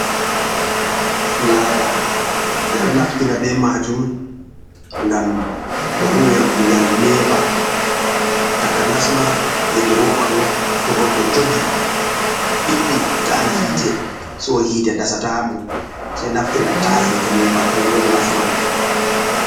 Filaya ɓe ɗo naftira be majum gam be huwira kugal nepa, taka nasma hedi roba ɗo to goɗɗo onjogi ɓiɗɗi ta’an hite so hite dasa tamo sei naftira ta’a hite nepa kanjon nafu majum.